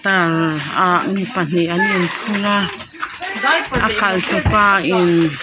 ta a mi pahnih an in phur a a khalh tu pa in--